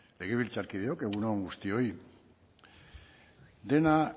legebiltzarkideok egun on guztioi dena